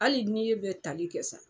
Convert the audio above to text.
Hali n'i ye bɛ tali kɛ sa